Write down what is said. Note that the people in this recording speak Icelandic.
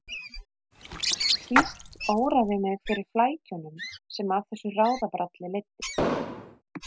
Síst óraði mig fyrir flækjunum sem af þessu ráðabralli leiddi.